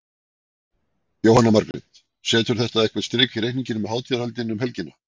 Jóhanna Margrét: Setur þetta eitthvað strik í reikninginn um hátíðarhöldin um helgina?